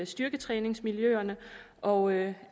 styrketræningsmiljøerne og